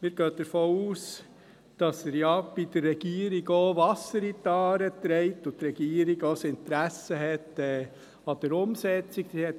Wir gehen davon aus, dass er bei der Regierung Wasser in die Aare trägt und die Regierung auch ein Interesse an der Umsetzung hat.